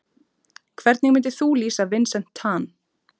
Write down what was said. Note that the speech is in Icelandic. Hvernig myndir þú lýsa Vincent Tan?